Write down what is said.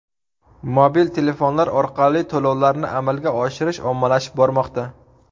mobil telefonlar orqali to‘lovlarni amalga oshirish ommalashib bormoqda.